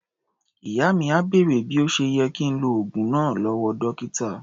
Ìyá mi à bèrè bí ó ṣe yẹ kí ń lo oògùn náà lọ́wọ́ dọ́kítà.